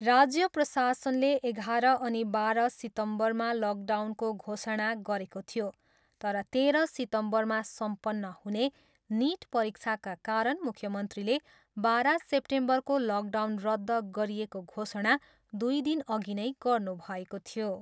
राज्य प्रशासनले एघार अनि बाह्र सितम्बरमा लकडाउनको घोषणा गरेको थियो तर तेह्र सितम्बरमा सम्पन्न हुने निट परीक्षाका कारण मुख्यमन्त्रीले बाह्र सेप्टेम्बरको लकडाउन रद्ध गरिएको घोषणा दुई दिनअघि नै गर्नुभएको थियो।